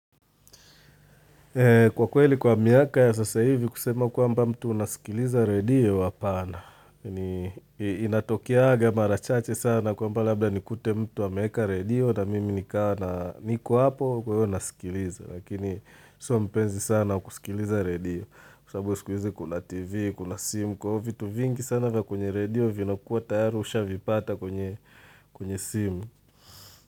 Kwa kweli kwa miaka ya sasa hivi kusema kwamba mtu unasikiliza radio hapana. Inatokeanga mara chache sana kwa lmba labda nikute mtu ameeka radio na mimi nikawa niko hapo kwa hiyo nasikiliza. Lakini sio mpenzi sana kusikiliza radio kwa sababu siku hizi kuna tv kuna simu kwa hivyo vitu vingi sana vya kwenye radio vinakuwa tayari ushavipata kwenye simu.